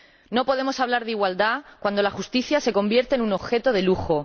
No podemos hablar de igualdad cuando la justicia se convierte en un objeto de lujo.